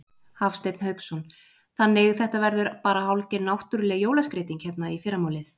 Hafsteinn Hauksson: Þannig þetta verður bara hálfgerð náttúruleg jólaskreyting hérna í fyrramálið?